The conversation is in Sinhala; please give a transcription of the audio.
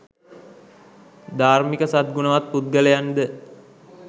ධාර්මික සත් ගුණවත් පුද්ගලයන්ද